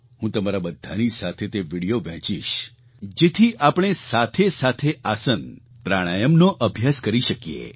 હું તમારા બધાની સાથે તે વિડિયો વહેંચીશ જેથી આપણે સાથેસાથે આસન પ્રાણાયામનો અભ્યાસ કરી શકીએ